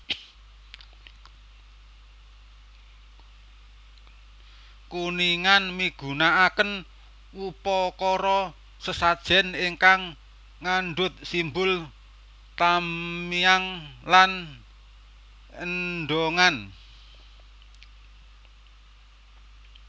Kuningan migunakaken upakara sesajen ingkang ngandhut simbol tamiang lan endongan